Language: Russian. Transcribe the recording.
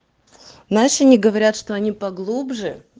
знаешь они говорят что они поглубже